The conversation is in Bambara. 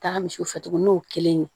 Taga misiw fɛ tuguni n'o kelen ye